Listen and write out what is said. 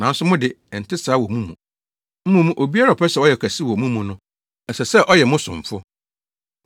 Nanso mo de, ɛnte saa wɔ mo mu. Mmom, obiara a ɔpɛ sɛ ɔyɛ ɔkɛse wɔ mo mu no, ɛsɛ sɛ ɔyɛ mo somfo.